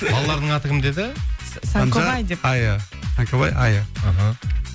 балаларының аты кім деді сәңкөбай айя аха